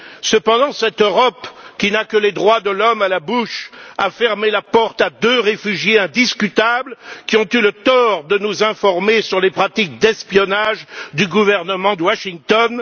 Cependant, cette Europe, qui n'a que les droits de l'homme à la bouche, a fermé la porte à deux réfugiés indiscutables, qui ont eu le tort de nous informer sur les pratiques d'espionnage du gouvernement de Washington.